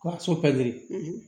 Ka so pɛrɛn